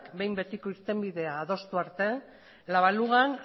behin betiko irtenbideak adostu arte la balugan